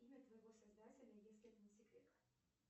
имя твоего создателя если это не секрет